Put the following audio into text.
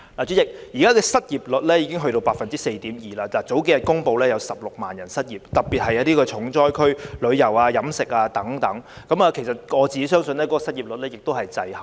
主席，現時失業率已達 4.2%， 數天前公布有16萬人失業，特別是重災區的旅遊業和飲食業等，而我相信現時的失業率數字是滯後的。